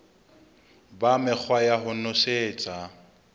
ba mekgwa ya ho nosetsa